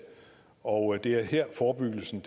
og det er her forebyggelsen